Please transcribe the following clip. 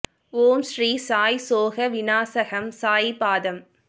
ஓம் ஸ்ரீ சாயி சோக வினாசகம் சாயி பாதம்